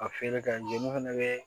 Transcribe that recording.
Ka feere kɛ jeliw fana bɛ